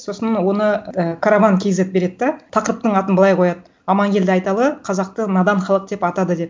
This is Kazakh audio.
сосын оны і караван кейзет береді да тақырыптың атын былай қояды аманкелді айталы қазақты надан халық деп атады деп